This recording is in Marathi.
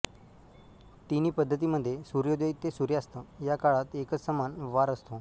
तिन्ही पद्धतींमध्ये सूर्योदय ते सूर्यास्त या काळात एकच समान वार असतो